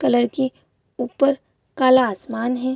Colour की ऊपर काला आसमान है।